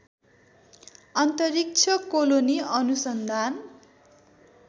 अन्तरिक्ष कोलोनी अनुसन्धान